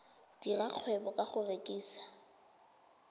dira kgwebo ka go rekisa